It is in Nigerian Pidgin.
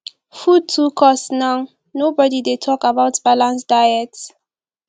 food too cost now nobodi dey tok about balanced diet